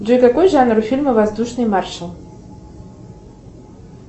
джой какой жанр у фильма воздушный маршал